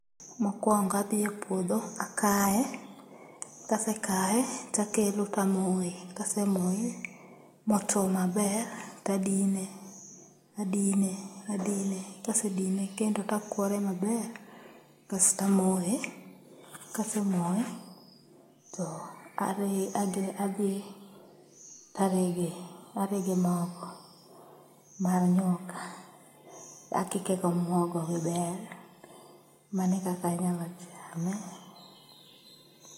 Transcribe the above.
Mokwongo adhiye puodho akaye, kasekaye takelo tamoye. Kasemoye motuo maber, tadine, adine, adine, kasedine kendo takwore maber kastamoye. Kasemoye, tadhi tarege, arege mogo mar nyuka, akike gomuogo gi bel. Manekaka anyalo chame.